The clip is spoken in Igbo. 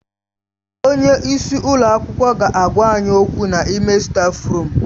Onye isi ụlọ akwụkwọ ga-agwa anyị okwu n'ime stáfruum.